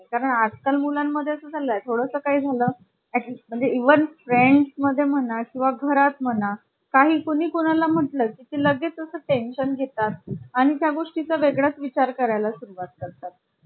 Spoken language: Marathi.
कारण आजकाल मुलांमध्ये चालला आहे. थोडं काही झालं म्हणजे even friends मध्ये म्हणा किंवा घरात म्हणा काही कोणी कोणा ला म्हटलं की ती लगेचच tension घेतात आणि त्या गोष्टी चा वेगळाच विचार करायला सुरुवात करतात